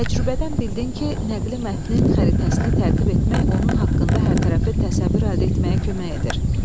Təcrübədən bildin ki, nəqli mətnin xəritəsini tərtib etmək onun haqqında hərtərəfli təsəvvür əldə etməyə kömək edir.